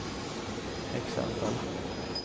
exempel